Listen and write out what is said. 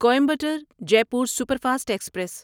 Coimbatore Jaipur superfast express